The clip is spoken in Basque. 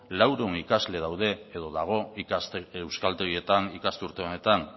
laurehun ikasle daude edo dago ikasten euskaltegietan ikasturte honetan